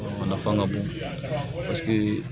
A nafa ka bon